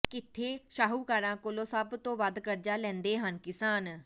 ਕਿਥੇ ਸ਼ਾਹੂਕਾਰਾਂ ਕੋਲੋਂ ਸਭ ਤੋਂ ਵੱਧ ਕਰਜ਼ਾ ਲੈਂਦੇ ਹਨ ਕਿਸਾਨ